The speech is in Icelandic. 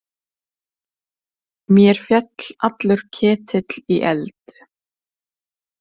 Mér féll allur ketill í eld.